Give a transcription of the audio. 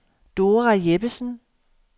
Dora Jeppesen